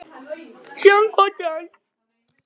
Síðan kvaddi hann